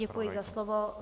Děkuji za slovo.